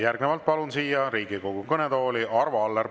Järgnevalt palun Riigikogu kõnetooli Arvo Alleri.